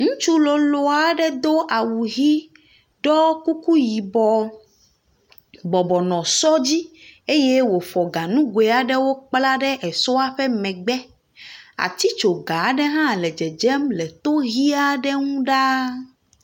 Ŋutsu lolo aɖe do awu ʋi do kuku yibɔ, bɔbɔnɔ sɔ dzi eye wòfɔ ganugoe aɖewo kpla ɖe esɔa ƒe megbe, atitsoga ʋi aɖe hã le dzedzem ɖaa.